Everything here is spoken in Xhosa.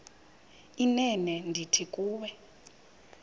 inene ndithi kuwe